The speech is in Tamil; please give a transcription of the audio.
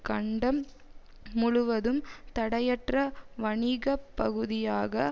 கண்டம் முழுவதும் தடையற்ற வணிக பகுதியாக